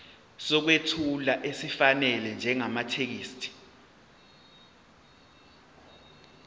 sokwethula esifanele njengamathekisthi